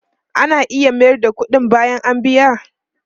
Ana iya mayar da kudi bayan a biya?